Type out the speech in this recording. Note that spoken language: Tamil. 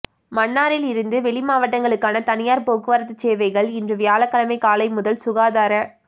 மன்னாரில் இருந்து வெளி மாவட்டங்களுக்கான தனியார் போக்குவரத்து சேவைகள் இன்று வியாழக்கிழமை காலை முதல் சுகாதார